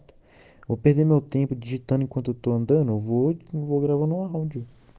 в минуты не подлежит антуан де уводит его говно об